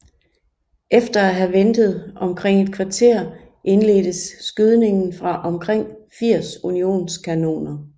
Efter at have ventet omkring et kvarter indledtes skydningen fra omkring 80 unionskanoner